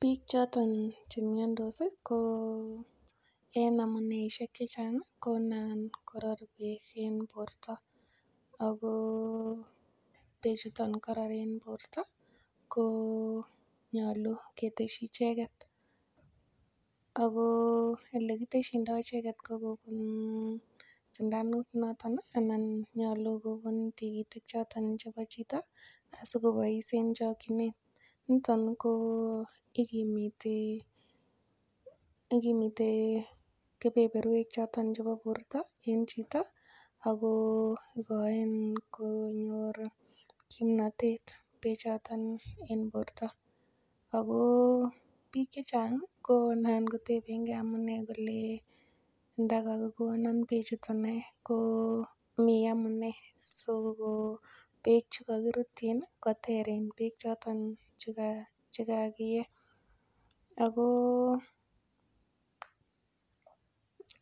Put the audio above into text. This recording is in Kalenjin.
Biik choton chemyondos ko en amuneishek chechang' ko nan korot beek en borto ako bee chuton karor en borto ko nyolu keteshi icheget ako ole kiteshindoi icheget ko kobun sindanut noton anan nyolu kobun tikitik choton chebo chito asikobois en chokchinet niton ko ikimiti kepeperwek choton chebo borto en chito ako ikoen konyor kimnotet bechoton en borto ako biik chechang' konan kotebenkei amune kole ndakakikonon bee chuton ae ko mi amune siko beek chekakirutchin koter en beek choton chekakie ako